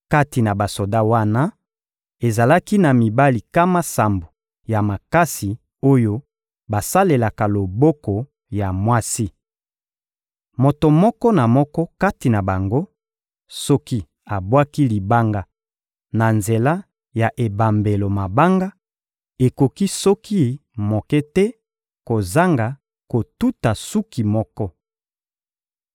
Kati na basoda wana, ezalaki na mibali nkama sambo ya makasi oyo basalelaka loboko ya mwasi. Moto moko na moko kati na bango, soki abwaki libanga na nzela ya ebambelo mabanga, ekoki soki moke te kozanga kotuta suki moko.